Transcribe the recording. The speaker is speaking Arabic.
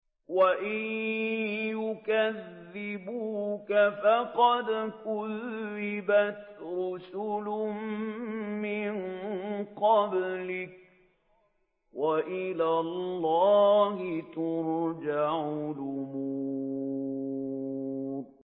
وَإِن يُكَذِّبُوكَ فَقَدْ كُذِّبَتْ رُسُلٌ مِّن قَبْلِكَ ۚ وَإِلَى اللَّهِ تُرْجَعُ الْأُمُورُ